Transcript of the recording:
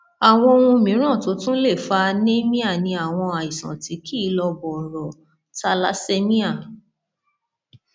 àwọn ohun mìíràn tó tún lè fa anemia ni àwọn àìsàn tí kì í lọ bọrọ thalassemia